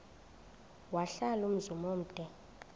wahlala umzum omde